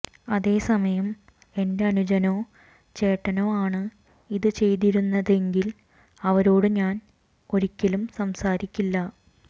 അതേ സമയം എന്റെ അനുജനോ ചേട്ടനോ ആണ് ഇത് ചെയ്തിരുന്നതെങ്കിൽ അവരോട് ഞാൻ ഒരിക്കലും സംസാരിക്കില്ല